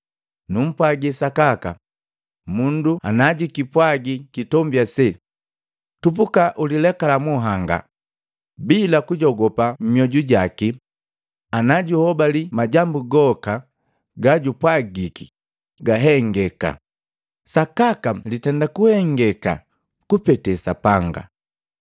Numpwagi sakaka, mundu najikipwagi kitombi ase, ‘Tupuka ukililekala munhanga,’ Bila kujogopa mmyoju jaki, ila anajuhobali majambu goka gajupwagiki gahengeka, sakaka litenda kuhengeka kupete Sapanga.